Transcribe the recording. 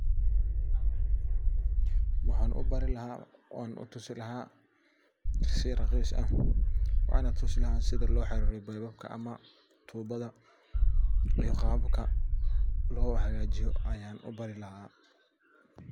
Waxa u bari laa oo utusi laa si raqiis ah wana tusi laaha sidha lo xiririyo bebabka ama tubada qabka lohagajiiyo ayaan ubari laa.